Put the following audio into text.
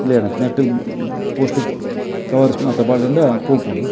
ನೆಟ್ಟ್ post covers ಮಾತ ಪಾಡುಂಡ ಪೊಪುಂಡು.